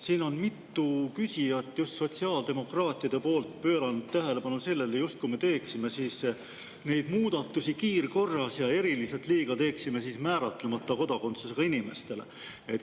Siin on mitu küsijat just sotsiaaldemokraatide seast pööranud tähelepanu sellele, justkui me teeksime neid muudatusi kiirkorras ja teeksime eriliselt liiga määratlemata kodakondsusega inimestele.